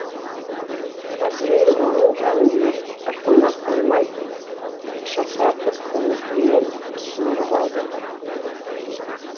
әзірейіл оның жанын ерік ырқына қоймай шырқыратып көмекейінен суырып алды